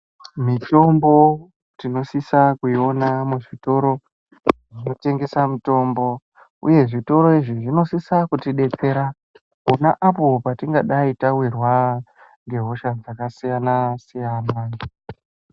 Mitombo tinosisa kuiona muzvitoro zvinotengese mitombo uye zvitoro izvi zvinosisa kutidetsera pona apo patingadai tawirwa ngehosha dzakasiyana siyana.